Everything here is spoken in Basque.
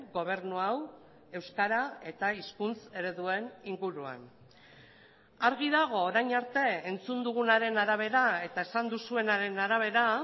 gobernu hau euskara eta hizkuntz ereduen inguruan argi dago orain arte entzun dugunaren arabera eta esan duzuenaren arabera